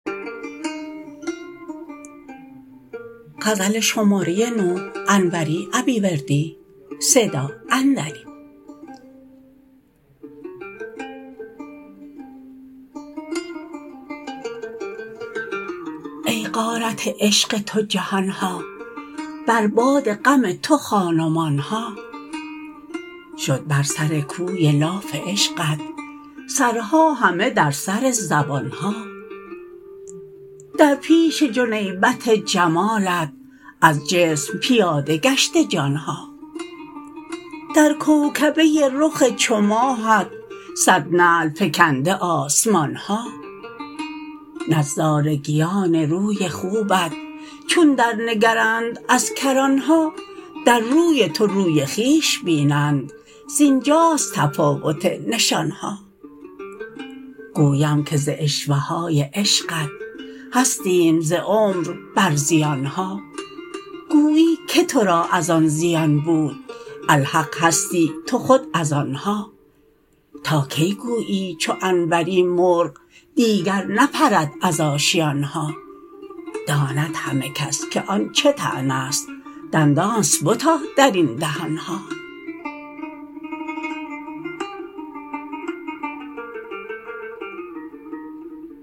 ای غارت عشق تو جهان ها بر باد غم تو خان و مان ها شد بر سر کوی لاف عشقت سرها همه در سر زبان ها در پیش جنیبت جمالت از جسم پیاده گشته جان ها در کوکبه رخ چو ماهت صد نعل فکنده آسمان ها نظارگیان روی خوبت چون در نگرند از کران ها در روی تو روی خویش بینند زینجاست تفاوت نشان ها گویم که ز عشوه های عشقت هستیم ز عمر بر زیان ها گویی که ترا از آن زیان بود الحق هستی تو خود از آن ها تا کی گویی چو انوری مرغ دیگر نپرد از آشیان ها داند همه کس که آن چه طعنه ست دندانست بتا در این دهان ها